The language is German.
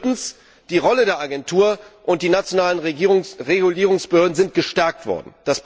Viertens Die Rolle der Agentur und die nationalen Regulierungsbehörden sind gestärkt worden.